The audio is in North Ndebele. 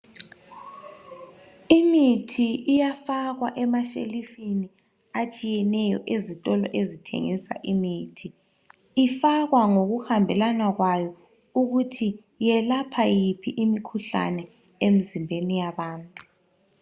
Imithi iyafakwa emashelufini atshiyetshiyeneyo ezitolo ezithengisa imithi. Ifakwa ngokuhambelana kwayo ukuthi yelapha yiphi imikhuhlane emzimbeni yabantu.